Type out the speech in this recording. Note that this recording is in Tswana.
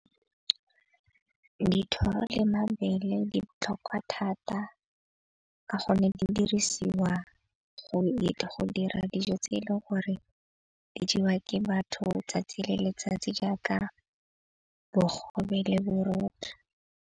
Dithoro le mabele di botlhokwa thata ka gonne di dirisiwa go dira dijo tse e leng gore di jewa ke batho tsatsi le letsatsi, jaaka bogobe le borotho.